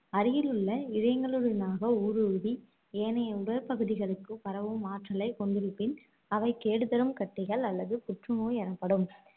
அருகில் உள்ள ஊடுருவி ஏனைய உடற்பகுதிகளுக்கு பரவும் ஆற்றலை கொண்டிருப்பின் அவை கேடுதரும் கட்டிகள் அல்லது புற்று நோய் எனப்படும்.